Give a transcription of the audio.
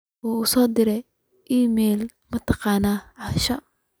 u soo dir iimayl martiqaad ah asha